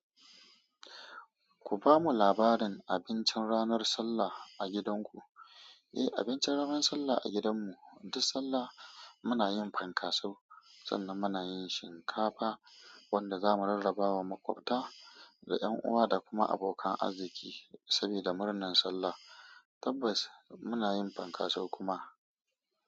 Ku ba mu labarin abincin ranar Sallah a gidanku. Eh, abincin ranar Sallah a gidanmu, duk Sallah muna yin fankaso, sannan muna yin shinkafa wanda za mu rarraba wa makwabta da 'yan uwa da kuma abokan arziki saboda murnar Sallah. Tabbas muna yin fankaso kuma.